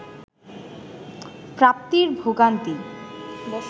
প্রাপ্তির ভোগান্তি